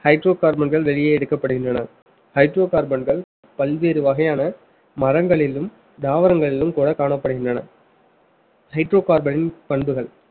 hydrocarbon கள் வெளியே எடுக்கப்படுகின்றன hydrocarbon கள் பல்வேறு வகையான மரங்களிலும் தாவரங்களிலும் கூட காணப்படுகின்றன hydrocarbon பண்புகள்